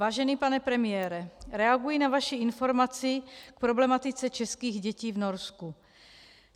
Vážený pane premiére, reaguji na vaši informaci k problematice českých dětí v Norsku.